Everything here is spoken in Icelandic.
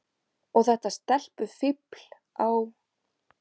Og þetta stelpufífl á